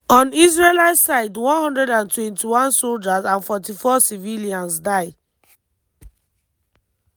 on israeli side 121 soldiers and 44 civilians die.